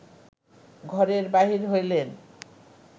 ঘরের বাহির হইলেন